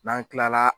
N'an kilala